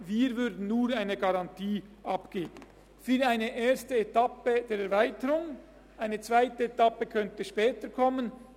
Wir würden aber nur eine Garantie für eine erste Etappe der Erweiterung abgeben, eine zweite Etappe könnte später kommen.